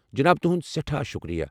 جناب، تہُند سٮ۪ٹھاہ شُکریہ۔